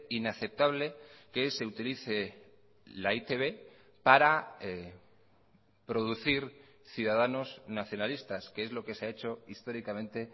inaceptable que se utilice la e i te be para producir ciudadanos nacionalistas que es lo que se ha hecho históricamente